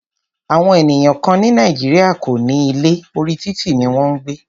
Àwọn ènìyàn kán ní Nàìjíríà kò ní ilé, orí títì ní wọn ń gbé.